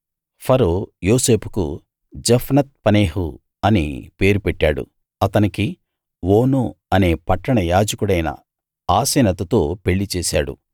ఫరో యోసేపుకు Zaphenath Paneah అని పేరు పెట్టాడు అతనికి ఓను అనే పట్టణ యాజకుడైన పోతీఫెర కూతురు ఆసెనతుతో పెళ్ళిచేశాడు